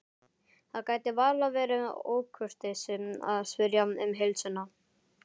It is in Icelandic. Það gæti varla verið ókurteisi að spyrja um heilsuna.